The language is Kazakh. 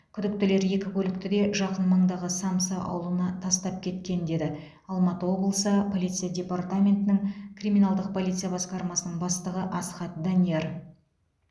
күдіктілер екі көлікті де жақын маңдағы самсы ауылына тастап кеткен деді алматы облысы полиция департаментінің криминалдық полиция басқармасының бастығы асхат данияр